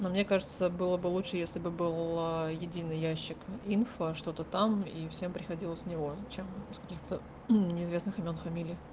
но мне кажется было бы лучше если бы был единый ящик инфо что-то там и всем приходило с него чем с каких-то неизвестных имён фамилий